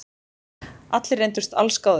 Allir reyndust allsgáðir